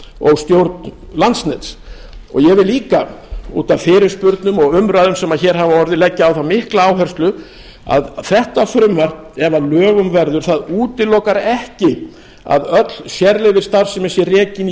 og stjórn landsnets ég vil líka út af fyrirspurnum og umræðum sem hér hafa orðið leggja á það mikla áherslu að þetta frumvarp ef að lögum verður útilokar ekki að öll sérleyfisstarfsemi sé rekin í